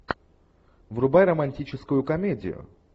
врубай романтическую комедию